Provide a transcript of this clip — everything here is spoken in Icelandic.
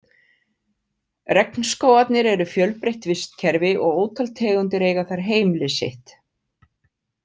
Regnskógarnir eru fjölbreytt vistkerfi og ótal tegundir eiga þar heimili sitt.